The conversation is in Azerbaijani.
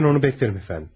Mən onu gözləyərəm efəndim.